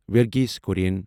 ورگھیس کُرٮ۪ن